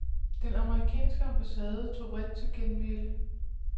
Den amerikanske ambassade tog vredt til genmæle.